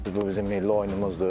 Bu bizim milli oyunumuzdur.